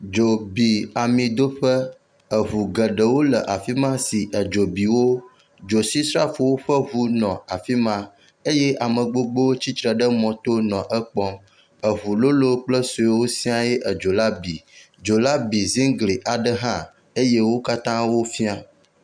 Dzo bi amidoƒe. Eŋu geɖewo le afi ma si edzo bi wo. Dzotsisrafowo ƒe eŋu nɔ afi ma eye ame gbogbowo tsitre ɖe mɔto nɔ wo ekpɔ. Eŋu lolo kple suewo siae edzo la bi. Dzo la bi ziŋgli ɖe hã eye wo katã wofia.